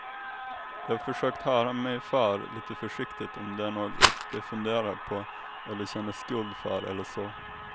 Jag har försökt höra mig för lite försiktigt om det är något de funderar på, eller känner skuld för eller så.